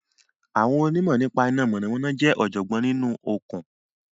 Àwọn onímọ̀ nípa iná mọ̀nàmọ́ná jẹ́ ọ̀jọ̀gbọ́n nínú okùn